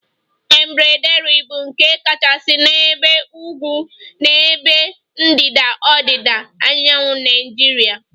Embraderi bụ nke kachasị n'ebe ugwu na n'ebe ndịda ọdịda anyanwụ Naijiria